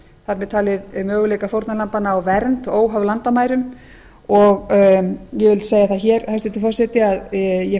þar með talið möguleika fórnarlambanna á vernd óháð landamærum og ég vil segja það hér hæstvirtur forseti að ég